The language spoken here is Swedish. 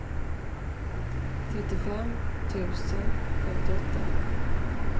trettiofem tusen femtioåtta